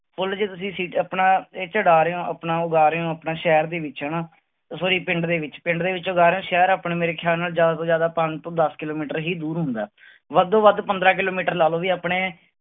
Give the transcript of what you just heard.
ਫੁੱਲ ਜੇ ਤੁਸੀਂ seed ਆਪਣਾ ਇੱਥੇ ਡਾਹ ਰਹੇ ਹੋ ਆਪਣਾ ਉਗਾ ਰਹੇ ਹੋ ਆਪਣਾ ਸ਼ਹਿਰ ਦੇ ਵਿੱਚ ਹਨਾ sorry ਪਿੰਡ ਦੇ ਵਿੱਚ ਪਿੰਡ ਦੇ ਵਿੱਚ ਉਗਾ ਰਹੇ ਹੋ, ਸ਼ਹਿਰ ਆਪਣੇ ਮੇਰੇ ਖਿਆਲ ਨਾਲ ਜ਼ਿਆਦਾ ਤੋਂ ਜ਼ਿਆਦਾ ਪੰਜ ਤੋਂ ਦਸ ਕਿੱਲੋਮੀਟਰ ਹੀ ਦੂਰ ਹੁੰਦਾ ਹੈ ਵੱਧੋ ਵੱਧ ਪੰਦਰਾਂ ਕਿੱਲੋਮੀਟਰ ਲਾ ਲਓ ਵੀ ਆਪਣੇ